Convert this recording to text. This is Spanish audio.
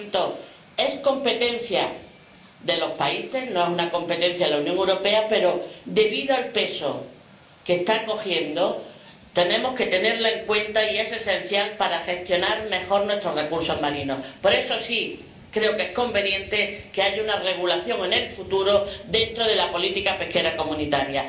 Por tanto, es competencia de los países, no es una competencia de la Unión Europea pero, debido al peso que está cogiendo, tenemos que tenerla en cuenta y es esencial para gestionar mejor nuestros recursos marinos. Por eso, creo que es conveniente que haya una regulación en el futuro dentro de la política pesquera comunitaria.